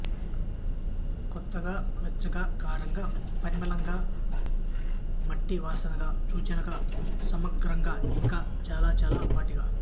కొత్తగా వెచ్చగా కారంగా పరిమళంగా మట్టి వాసనగా సూచనంగా సమగ్రంగా ఇంకా చాల చాల వాటిగా